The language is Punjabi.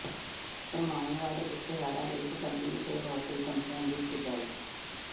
ਭਰਮਾਉਣ ਵਾਲੇ ਇਸ਼ਤਿਹਾਰਾਂ ਲਈ ਪਤੰਜਲੀ ਤੇ ਹੋਰ ਕਈ ਕੰਪਨੀਆਂ ਦੀ ਖਿਚਾਈ